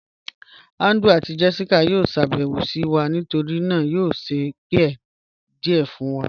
Andrew àti Jessica yó ṣàbẹwo sí wa, nítorí náà a yó ṣẹ̀ pie díẹ̀ fun wọn